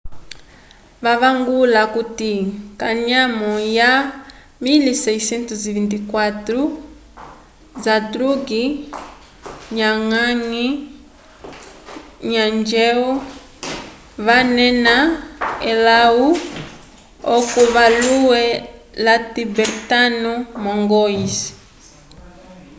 vavangula okuti kanyamo lya 1624 zhadrug ngawang namgyel wanena elahu oco vayule la tibertano mongois